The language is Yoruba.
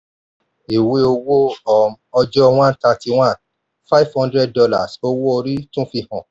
ìwé owó um ọjọ one thirty-one five hundred dollars owó orí tún fi hàn.